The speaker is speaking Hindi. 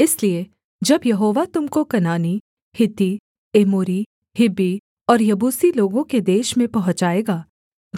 इसलिए जब यहोवा तुम को कनानी हित्ती एमोरी हिब्बी और यबूसी लोगों के देश में पहुँचाएगा